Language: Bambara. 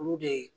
Olu de